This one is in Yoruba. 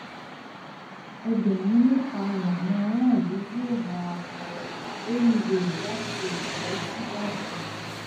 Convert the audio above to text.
ẹgbẹrún mẹta làwọn aráàlú yóò máa wọ rélùwéè láti ẹkọ sí ìbàdàn